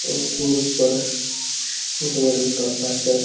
और पूल पर रेल का फाटक--